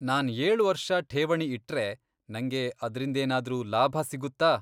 ನಾನ್ ಏಳ್ ವರ್ಷ ಠೇವಣಿ ಇಟ್ರೆ, ನಂಗೆ ಅದ್ರಿಂದೇನಾದ್ರೂ ಲಾಭ ಸಿಗುತ್ತಾ?